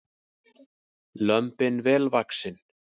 Lömbin vel vaxin